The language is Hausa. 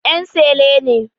En sele ne